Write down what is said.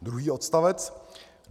Druhý odstavec.